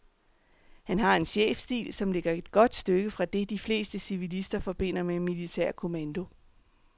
Han har en chefstil, som ligger et godt stykke fra det, de fleste civilister forbinder med militær kommando.